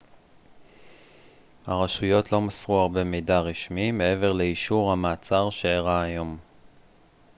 הרשויות לא מסרו הרבה מידע רשמי מעבר לאישור המעצר שאירע היום